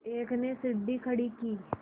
एक ने सीढ़ी खड़ी की